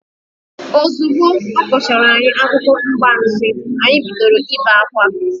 Ozugbo ọ kọchaara anyị akụkọ mgbansi, anyị bidoro ibe akwa.